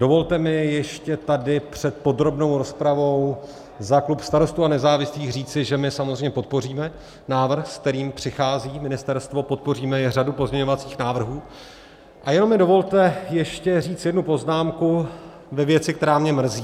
Dovolte mi ještě tady před podrobnou rozpravou za klub Starostů a nezávislých říci, že my samozřejmě podpoříme návrh, se kterým přichází ministerstvo, podpoříme i řadu pozměňovacích návrhů, a jenom mi dovolte ještě říct jednu poznámku ve věci, která mě mrzí.